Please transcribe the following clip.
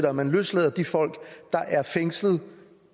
at man løslader de folk der er fængslede